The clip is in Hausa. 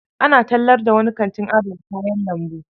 Ana tallar da wani kantin adana kayan lambu.